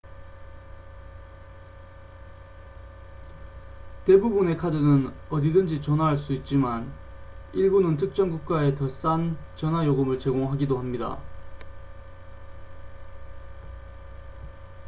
대부분의 카드는 어디든지 전화할 수 있지만 일부는 특정 국가에 더 싼 전화 요금을 제공하기도 합니다